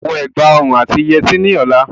O gbọ́dọ̀ wọ ẹ̀gbà òrun àti yẹtí ní ọlá.